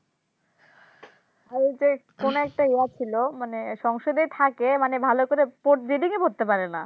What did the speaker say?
ভারতের কোনো একটা ইয়া ছিল মানে সংসদেই থাকে ভালো করে Reading ই পড়তেই পারে না